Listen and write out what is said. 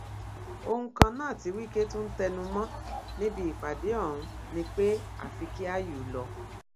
ohun kan náà tí wike tún ń tẹnu mọ níbi ìpàdé ọhún ni pé àfi kí áyù lọ